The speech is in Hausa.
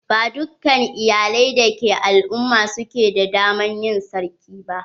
Ba dukkan iyalai dake al"umma su ke da dama na yin sarki ba